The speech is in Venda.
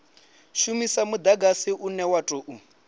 shumisa mudagsai une wa tou